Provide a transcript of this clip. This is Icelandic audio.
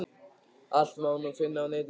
Allt má nú finna á netinu!